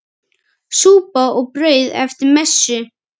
Súpa og brauð eftir messu.